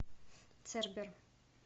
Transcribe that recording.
цербер